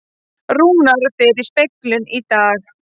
Rúnar fer í speglun í dag